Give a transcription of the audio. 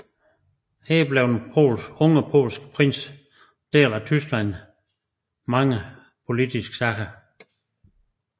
Her blev den unge polske prins del af Tysklands mange politiske sager